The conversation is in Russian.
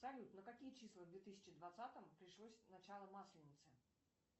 салют на какие числа в две тысячи двадцатом пришлось начало масленицы